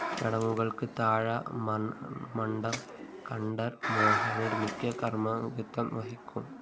ചടങ്ങുകള്‍ക്ക് താഴമണ്‍മഠം കണ്ഠരര് മോഹനര് മുഖ്യ കാര്‍മ്മികത്വം വഹിക്കും